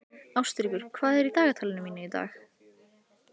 Ástríkur, hvað er í dagatalinu mínu í dag?